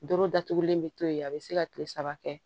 Doro datugulen bɛ to yen a bɛ se ka kile saba kɛ